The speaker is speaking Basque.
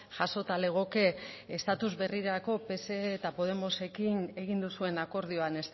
jasota legoke estatus berrirako pse eta podemosekin egin duzuen akordioan